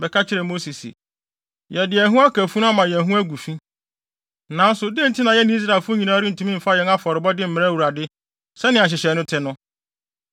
bɛka kyerɛɛ Mose se, “Yɛde yɛn ho aka funu ama yɛn ho agu fi, nanso dɛn nti na yɛne Israelfo nyinaa rentumi mfa yɛn afɔrebɔde mmrɛ Awurade sɛnea nhyehyɛe no te no?”